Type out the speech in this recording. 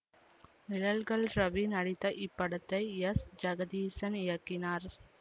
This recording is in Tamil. நிழல்கள் ரவி நடித்த இப்படத்தை எஸ் ஜெகதீசன் இயக்கினார்